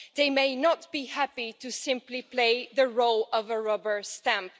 They may not be happy to simply play the role of a rubber stamp.